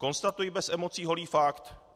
Konstatuji bez emocí holý fakt.